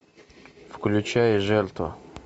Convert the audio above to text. включай жертва